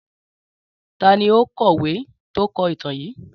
Tàní òun kọ̀wé tó kọ ìtàn yìí?